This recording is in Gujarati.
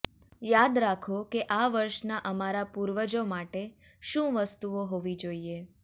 યાદ રાખો કે આ વર્ષનાં અમારા પૂર્વજો માટે શું વસ્તુઓ હોવી જોઈએ